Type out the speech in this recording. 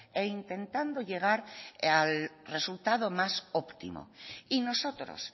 e intentando llegar al resultado más óptimo y nosotros